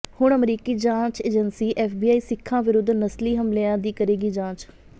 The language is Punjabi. ਹੁਣ ਅਮਰੀਕੀ ਜਾਂਚ ਏਜ਼ੰਸੀ ਐੱਫਬੀਆਈ ਸਿੱਖਾਂ ਵਿਰੁੱਧ ਨਸਲੀ ਹਮਲ਼ਿਆਂ ਦੀ ਕਰੇਗੀ ਜਾਂਚ